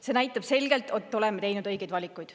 See näitab selgelt, et oleme teinud õigeid valikuid.